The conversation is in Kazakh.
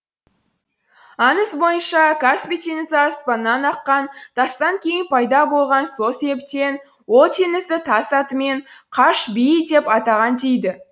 аңыз бойынша каспий теңізі аспаннан аққан тастан кейін пайда болған сол себептен ол теңізді тас атымен қаш биі деп атаған дейді